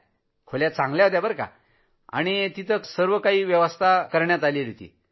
चांगल्या खोल्या होत्या सर्वकाही तिथं होतं